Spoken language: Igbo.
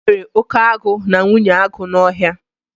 E nwere oke agụ na nwunye agụ n'Ọhịa